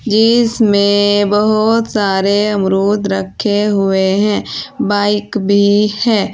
जिसमे बहोत सारे अमरूद रखे हुए है बाइक भी है।